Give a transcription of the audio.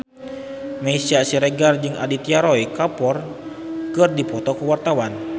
Meisya Siregar jeung Aditya Roy Kapoor keur dipoto ku wartawan